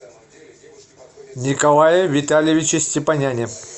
николае витальевиче степаняне